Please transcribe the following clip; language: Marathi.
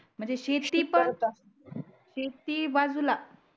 म्हणजे शेती पण शेती बाजूला